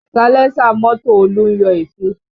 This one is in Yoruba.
Salẹ́sà mọ́tò Olú ń yọ èéfín